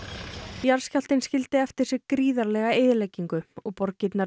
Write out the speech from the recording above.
jarðskjálftinn skildi eftir sig gríðarlega eyðileggingu og borgirnar